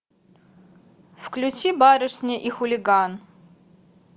включи барышня и хулиган